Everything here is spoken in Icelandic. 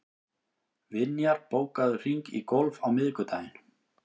Vinjar, bókaðu hring í golf á miðvikudaginn.